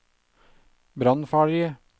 brannfarlige